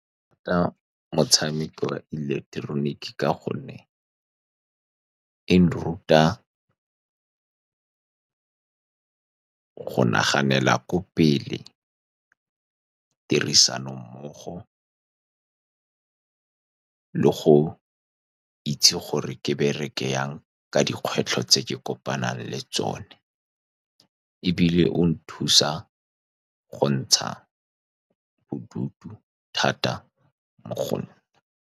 ke rata motshameko wa ileketeroniki ka gonne e nruta go naganela ko pele, tirisano mmogo le goitse gore ke bereke jang ka dikgwetlho tse ke kopanang le tsone. Ebile o nthusa go ntsha bodutu thata mo go nna.